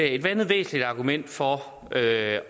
et andet væsentligt argument for at